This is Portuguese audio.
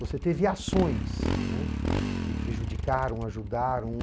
Você teve ações, né, que prejudicaram, ajudaram.